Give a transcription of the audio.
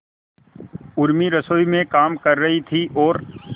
उर्मी रसोई में काम कर रही थी और